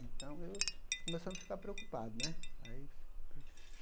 Então, eu começamos a ficar preocupado, né? Aí